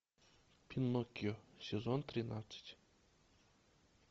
пиноккио сезон тринадцать